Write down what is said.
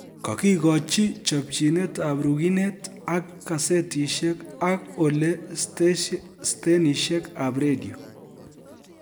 Kokigochi chopchinet ab rigunet ak kasetishek ak ole stenishek ab redio